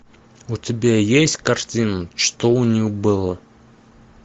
у тебя есть картина что у нее было